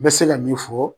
N bɛ se ka min fɔ